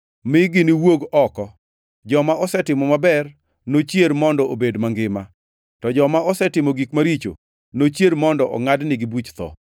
mi giwuog oko; joma osetimo maber nochier mondo obed mangima, to joma osetimo gik maricho nochier mondo ongʼadnigi buch tho.